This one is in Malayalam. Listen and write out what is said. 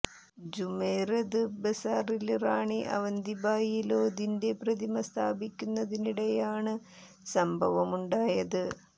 ജുമെറത് ബസാറില് റാണി അവന്തി ഭായി ലോധിന്റെ പ്രതിമ സ്ഥാപിക്കുന്നതിനിടെയാണ് സംഭവമുണ്ടായത്